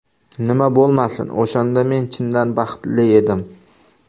Nima bo‘lmasin, o‘shanda men chindan baxtli edim.